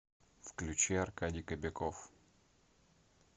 включи аркадий кобяков